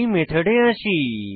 এই মেথডে আসি